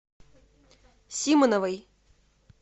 симановой